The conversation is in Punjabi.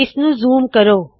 ਇਸ ਨੂੰ ਜ਼ੂਮ ਜ਼ੂਮ ਕਰੋ